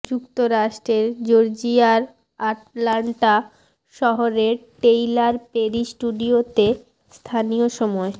যুক্তরাষ্ট্রের জর্জিয়ার আটলান্টা শহরের টেইলার পেরি স্টুডিওতে স্থানীয় সময়